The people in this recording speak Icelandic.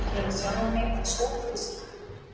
Gera sjálfa mig að sogfiski.